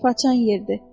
Façan yerdir.